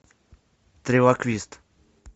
трилоквист